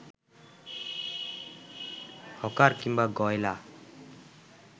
hawker কিংবা গয়লা